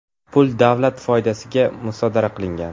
Pul davlat foydasiga musodara qilingan.